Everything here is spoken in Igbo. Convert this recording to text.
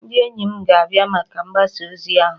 Ndị enyi m ga-abịa maka mgbasa ozi ahụ